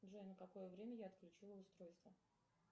джой на какое время я отключила устройство